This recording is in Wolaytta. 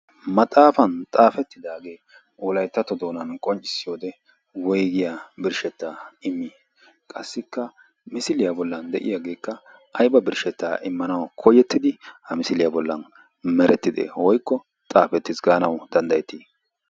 maxaafan xaafettidaagee olaittato doonan qonccissi wode woigiya birshshettaa immi qassikka misiliyaa bollan de7iyaageekka aiba birshshettaa immanau koyettidi ha misiliyaa bollan merettide hoikko xaafettis gaanau danddayettii?